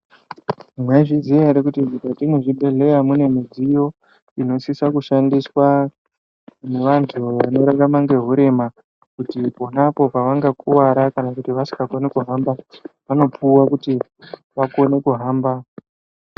Mwaizviziya ere kuti mukati mezvibhedhlera mune midziyo ino siso kushandiswa nevantu vanorarama nehurrma kuti ponapo pavanga kuvara kana kuti vasingakoni kuhamba vanopuwa kuti vakone kuhamba.